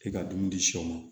E ka dumuni di sɔ ma